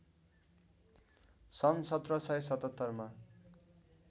सन् १७७७ मा